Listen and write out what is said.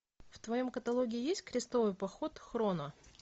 в твоем каталоге есть крестовый поход хроно